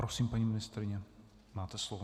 Prosím, paní ministryně, máte slovo.